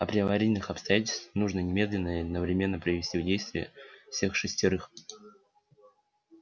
а при аварийных обстоятельствах нужно немедленно и одновременно привести в действие всех шестерых